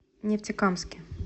нефтекамске